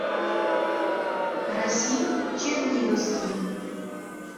расим черниговский